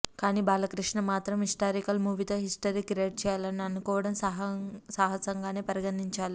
కానీ బాలకృష్ణ మాత్రం హిస్టారికల్ మూవీతో హిస్టరీ క్రియేట్ చేయాలని అనుకోవడం సాహసంగానే పరిగణించాలి